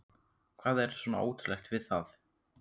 Hvað er svona ótrúlegt við það?